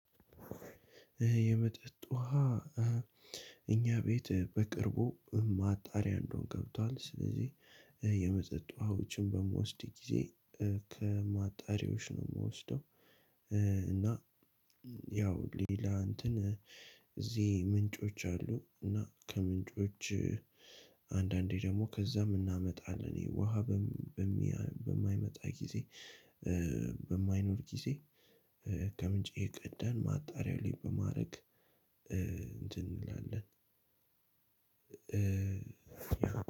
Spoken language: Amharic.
የመጠጥ ውሃ እኛ ቤት በቅርቡ ማጣሪያ እንደውም ገብቷል ስለዚህ የመጠጥ ውሃዎችን በምወስድ ጊዜ ከማጣሪያዎች ነው ምወስደው። እና ያው ሌላ እንትን እዚህ ምንጮች አሉ እና ከምንጮች አንዳንዴ ደግሞ ከዛም እናመጣለን። ይህ ውሃ በም በሚያ በማይመጣ ጊዜ በማይኖር ጊዜ ከምንጭ እየቀዳን ማጣሪያው ላይ በማረግ እንትን እንላለን።